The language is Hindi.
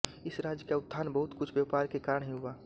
इस राज्य का उत्थान बहुत कुछ व्यापार के कारण ही हुआ